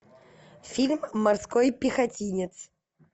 фильм морской пехотинец